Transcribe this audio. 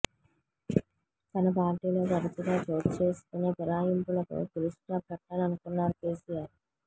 తన పార్టీలో తరచుగా చోటుచేసుకునే ఫిరాయింపులకు ఫుల్ స్టాప్ పెట్టాలనుకున్నారు కెసిఆర్